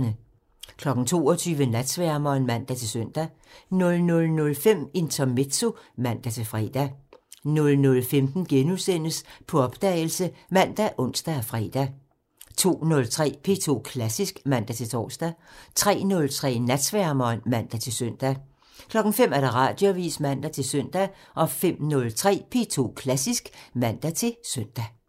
22:00: Natsværmeren (man-søn) 00:05: Intermezzo (man-fre) 00:15: På opdagelse *( man, ons, fre) 02:03: P2 Klassisk (man-tor) 03:03: Natsværmeren (man-søn) 05:00: Radioavisen (man-søn) 05:03: P2 Klassisk (man-søn)